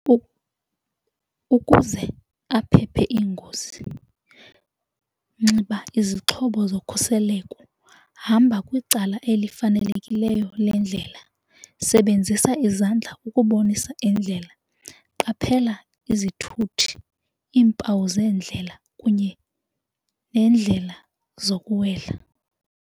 Ukuze aphephe iingozi nxiba izixhobo zokhuseleko, hamba kwicala elifanelekileyo lendlela, sebenzisa izandla ukubonisa indlela, qaphela izithuthi iimpawu zendlela kunye neendlela zokuwela.